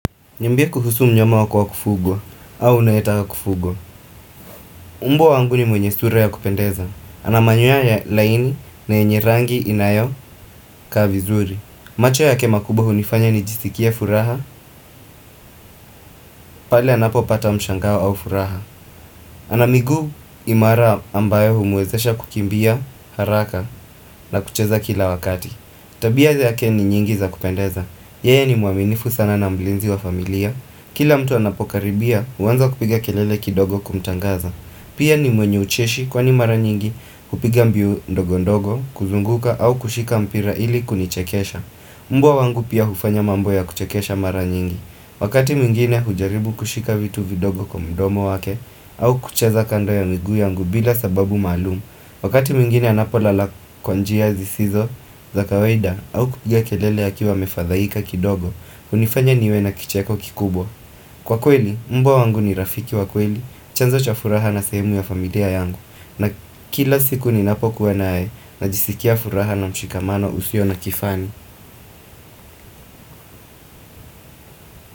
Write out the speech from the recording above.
Niambie kuhusu mnyama wa kwa kufugwa, au unaitaka kufugwa. Mbwa wangu ni mwenye sura ya kupendeza. Ana manyuya ya laini na yenye rangi inayo ka vizuri. Macho ya ke makubo hunifanya ni jisikia furaha, pale anapo pata mshangawa au furaha. Ana migu imara ambayo humwezesha kukimbia haraka na kucheza kila wakati. Tabiaze ya ke ni nyingi za kupendeza. Yee ni muaminifu sana na mlinzi wa familia. Kila mtu anapokaribia uwanza kupiga kelele kidogo kumtangaza Pia ni mwenye ucheshi kwa ni mara nyingi kupiga mbiu ndogo ndogo kuzunguka au kushika mpira ili kunichekesha Mbwa wangu pia hufanya mambo ya kuchekesha mara nyingi Wakati mingine hujaribu kushika vitu vidogo kwa mdomo wake au kucheza kando ya migu yangu bila sababu malumu Wakati mingine anapolala kwanjia zisizo. Za kawaida au kupiga kelele ya kiwa mefadhaika kidogo unifanya niwe na kicheko kikubwa. Kwa kweli, mbwa wangu ni rafiki wa kweli. Chanzo cha furaha na semu ya familia yangu na kila siku ni napokuwa naae Najisikia furaha na mshikamano usio na kifani.